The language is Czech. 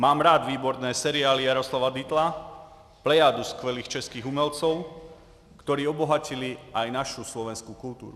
Mám rád výborné seriály Jaroslava Dietla, plejádu skvělých českých umělců, kteří obohatili i naši slovenskou kulturu.